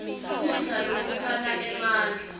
kudla lokuphana emandla